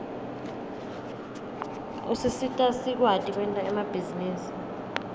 usisita sikwati kwenta emabhizinisi